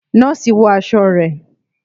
Nọ́ọ̀sì wọ aṣọ rẹ.